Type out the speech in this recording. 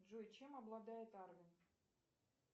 джой чем обладает арвин